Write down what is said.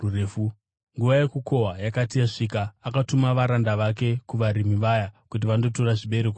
Nguva yokukohwa yakati yasvika, akatuma varanda vake kuvarimi vaya kuti vandotora zvibereko zvake.